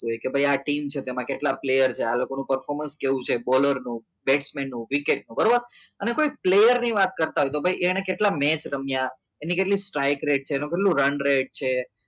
જોકે ભાઈ આ ટીમ છે કે તેમાં કેટલા player આ છે આ લોકોને performance કેવું છે બોલરનું વિકેટનું બરાબર અને કોઈ player ની વાત કરતા હોય તો ભાઈ અહીંયા કેટલા મેચ રમ્યા એની કેટલી try કરે છે એને કેટલું રન રેટ છે